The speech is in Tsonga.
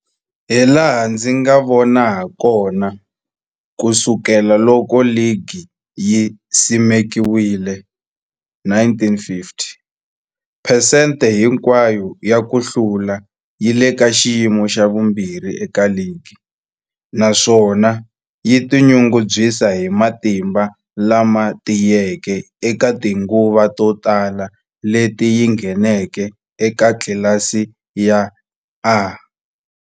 Hilaha ndzi nga vona hakona, ku sukela loko ligi yi simekiwile, 1950, phesente hinkwayo ya ku hlula yi le ka xiyimo xa vumbirhi eka ligi, naswona yi tinyungubyisa hi matimba lama tiyeke eka tinguva to tala leti yi ngheneke eka tlilasi ya A.